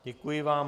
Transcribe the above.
Děkuji vám.